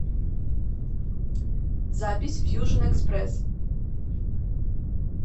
запись фьюжн экспресс